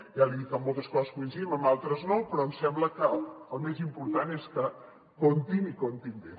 ja li he dit que en moltes coses coincidim en altres no però em sembla que el més important és que comptin i comptin bé